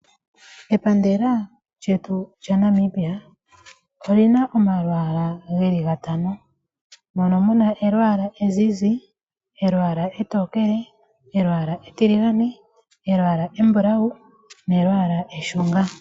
Epandela lyetu lya Namibia olina omalwaala geli gatano, mono muna elwaala ezizi, elwaala etokele, elwaala etiligane, elwaala embulawu, nelwaala eshunga.